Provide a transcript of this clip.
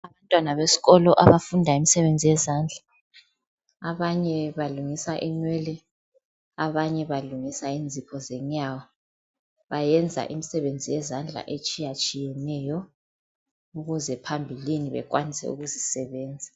Abantwana besikolo abafunda imisebenzi yezandla abanye balungisa inwele abanye balungisa inzipho zenyawo bayenza imisebenzi yezandla etshiyatshiyeneyo ukuze phambilini ekwanise ukuzisebenza.